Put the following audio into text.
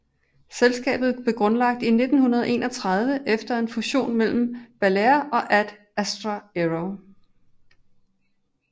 Selskabet blev grundlagt i 1931 efter en fusion mellem Balair og Ad Astra Aero